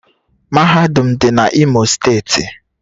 Mahadum m dị n’Imo steeti